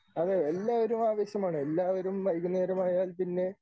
അത് എല്ലാവരും ആവശ്യമാണ് എല്ലാവരും വൈകുന്നേരമായാൽ പിന്നെ